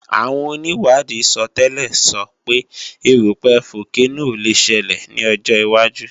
Àwọn onìwádìí sọtẹ́lẹ̀ sọ pé erúpẹ̀ fókénò le ṣelẹ̀ ní ọjọ́ wájú